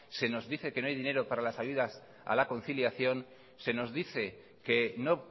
se nos dice que no hay dinero para las ayudas a la conciliación se nos dice que no